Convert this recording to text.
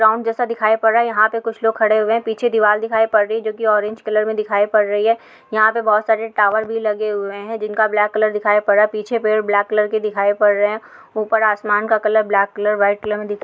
Ground जैसा दिखाई पड़ रहा है यहाँ पर कुछ लोग खड़े हुए है। पीछे दिवार दिखाई पड़ रही जो कि ऑरेंज कलर में दिखाई पड़ रही है। यहाँ पर बहोत सारे टावर भी लगे हुए हैं जिनका ब्लैक कलर दिखाई पड़ रहा है पीछे पेड़ ब्लैक कलर के दिखाई पड़ रहे है। ऊपर आसमान का colour black colour white colour में दिख --